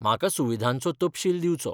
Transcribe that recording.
म्हाका सुविधांचो तपशील दिवचो.